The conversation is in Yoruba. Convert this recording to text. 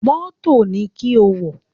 Mọ́tò ni kí o wọ̀!